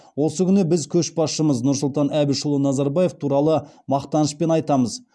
осы күні біз көшбасшымыз нұрсұлтан әбішұлы назарбаев туралы мақтанышпен айтамыз